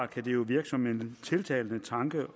kan det jo virke som en tiltalende tanke